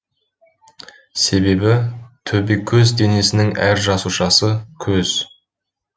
себебі төбекөз денесінің әр жасушасы көз